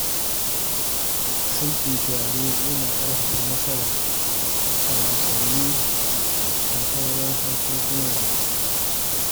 Aiki tare yana ƙarfafa nasara a wasanni da sauran harkokin rayuwa.